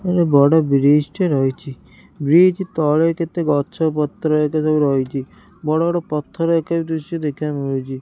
ଏଡ଼େ ବଡ଼ ବ୍ରିଜ ଟିଏ ରହିଚି ବ୍ରିଜ ତଳେ କେତେ ଗଛ ପତ୍ର ହେକା ସବୁ ରହିଚି ବଡ଼ ବଡ଼ ପଥର ହେକା ଦୃଶ୍ୟ ବି ଦେଖିବାକୁ ମିଳୁଚି।